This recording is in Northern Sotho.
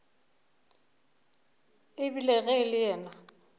ebile ge e le yena